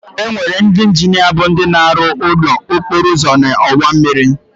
Enwere ndị injinia bụ ndị na-arụ ụlọ, okporouzo na ọwa mmịrị.